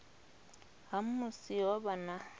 ha musi ho vha na